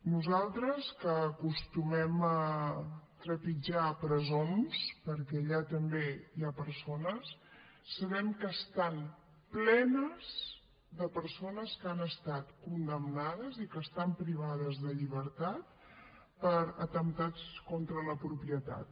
nosaltres que acostumem a trepitjar presons perquè allà també hi ha persones sabem que estan plenes de persones que han estat condemnades i que estan privades de llibertat per atemptats contra la propietat